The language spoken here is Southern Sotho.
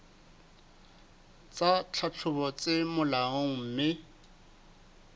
tsa tlhahlobo tse molaong mme